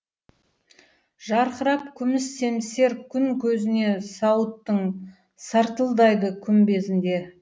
жарқырап күміс семсер күн көзіне сауыттың сартылдайды күмбезінде